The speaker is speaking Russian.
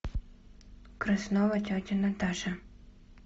краснова тетя наташа